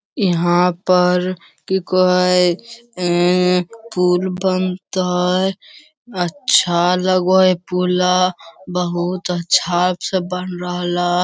यहाँ पर कोई कहा हई अ पुल बनतइ अच्छा लगो हई पूला। बहुत अच्छा से बन रहल।